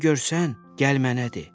Nə görsən, gəl mənə de.